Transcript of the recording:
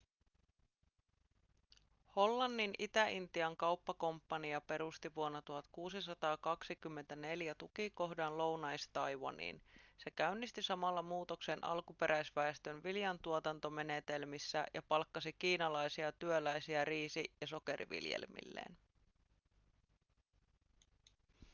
hollannin itä-intian kauppakomppania perusti vuonna 1624 tukikohdan lounais-taiwaniin se käynnisti samalla muutoksen alkuperäisväestön viljantuotantomenetelmissä ja palkkasi kiinalaisia työläisiä riisi- ja sokeriviljelmilleen